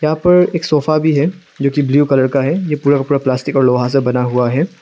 यहां पर एक सोफा भी है जोकि ब्लू कलर का है ये पूरा का पूरा प्लास्टिक और लोहा से बना हुआ है।